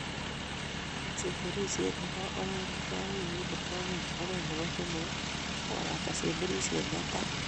Semberisiet nebo oeng keyai wikit nebo oeng agoi nebo somok kokakobata semberisiet netai